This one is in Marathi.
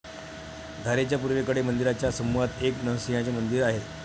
धारेच्या पूर्वेकडे मंदिराच्या समूहात एक नरसिंहाचे मंदिर आहे.